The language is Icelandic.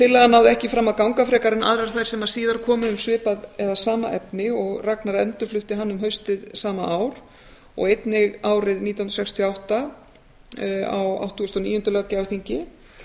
tillagan náði ekki fram að ganga frekar en aðrar þær sem síðar komu um svipað eða sama efni og ragnar endurflutti hana um haustið sama ár og einnig árið nítján hundruð sextíu og átta á áttugasta og níunda löggjafarþingi